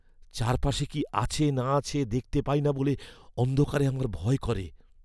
চারপাশে কি আছে না আছে দেখতে পাই না বলে অন্ধকারে আমার ভয় করে।